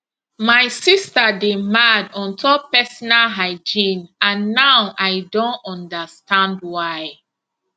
my sister dey mad on top personal hygiene and now i don understand why